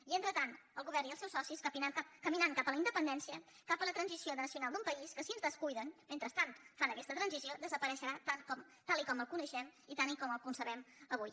i mentrestant el govern i els seus socis caminant cap a la independència cap a la transició nacional d’un país que si es descuiden mentrestant fan aquesta transició desapareixerà tal com el coneixem i tal com el concebem avui